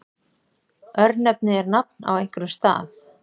Örnefni er nafn á einhverjum stað.